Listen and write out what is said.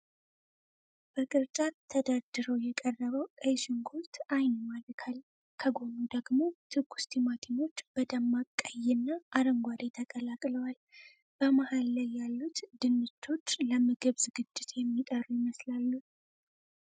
በቅርጫት ተደርድሮ የቀረበው ቀይ ሽንኩርት አይን ይማርካል። ከጎኑ ደግሞ ትኩስ ቲማቲሞች በደማቅ ቀይና አረንጓዴ ተቀላቅለዋል። በመሃል ላይ ያሉት ድንቾች ለምግብ ዝግጅት የሚጠሩ ይመስላሉ።